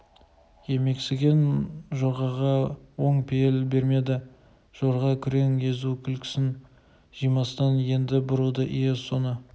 емексіген жорғаға оң пейіл бермеді жорға күрең езу күлкісін жимастан енді бұрылды ие соны